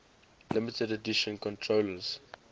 limited edition controllers